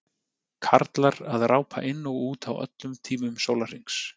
Karlar að rápa inn og út á öllum tímum sólarhrings.